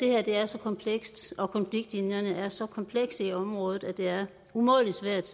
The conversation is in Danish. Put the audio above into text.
er så komplekst og at konfliktlinjerne er så komplekse i området at det er umådelig svært